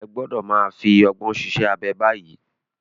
Ẹ gbọ́dọ̀ máa fi ọgbọ́n ṣiṣẹ́ abẹ báyìí.